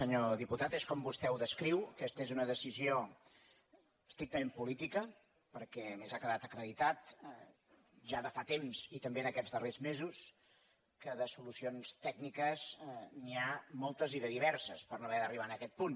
senyor diputat és com vostè ho descriu aquesta és una decisió estrictament política perquè a més ha quedat acreditat ja de fa temps i també en aquests darrers mesos que de solucions tècniques n’hi ha moltes i de diverses per no haver d’arribar a aquest punt